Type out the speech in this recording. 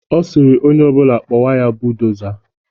Ọ sịrị onye ọ bụla kpọba ya buudoza.